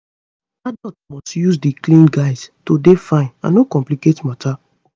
adults must use di clean guides to dey fine and no complicate matter